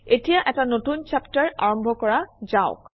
এতিয়া এটা নতুন চেপ্টাৰ আৰম্ভ কৰা যাওক